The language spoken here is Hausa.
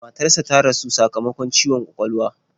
Matarsa ta rasu sakamakon ciwon kwakwalwa.